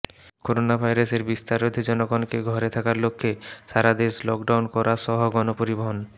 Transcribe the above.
করোনাভাইরাসের বিস্তার রোধে জনগণকে ঘরে থাকার লক্ষে সারাদেশ লকডাউন করা সহ গণপরিবহণ